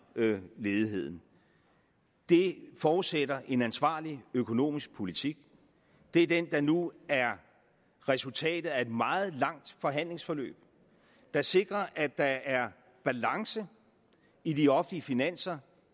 ledigheden det forudsætter en ansvarlig økonomisk politik det er den der nu er resultatet af et meget langt forhandlingsforløb der sikrer at der er balance i de offentlige finanser